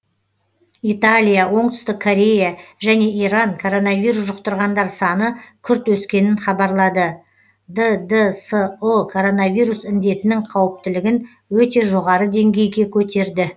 италия оңтүстік корея және иран коронавирус жұқтырғандар саны күрт өскенін хабарлады ддсұ коронавирус індетінің қауіптілігін өте жоғары деңгейге көтерді